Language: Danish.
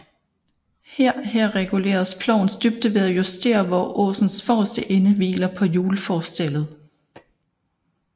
Her her reguleres plovens dybde ved at justere hvor åsens forreste ende hviler på hjulforstellet